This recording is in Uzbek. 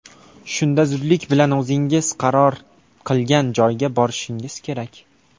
Shunda zudlik bilan o‘zingiz qaror qilgan joyga borishingiz kerak.